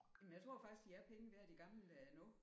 Jamen jeg tror faktisk de er penge værd de gamle der nu